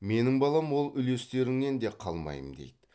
менің балам ол үлестеріңнен де қалмаймын дейді